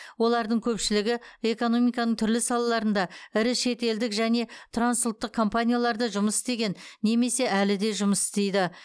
олардың көпшілігі экономиканың түрлі салаларында ірі шетелдік және трансұлттық компанияларда жұмыс істеген немесе әлі де жұмыс істейді